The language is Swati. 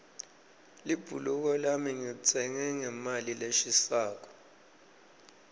libhuluko lami ngilitsenge ngemali leshisako